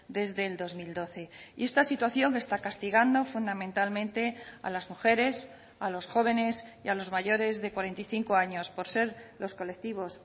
desde el dos mil doce y esta situación está castigando fundamentalmente a las mujeres a los jóvenes y a los mayores de cuarenta y cinco años por ser los colectivos